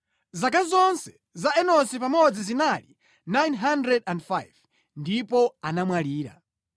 Zaka zonse za Enosi pamodzi zinali 905 ndipo anamwalira.